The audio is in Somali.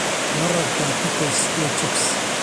Ma rabtaa pickles iyo chips?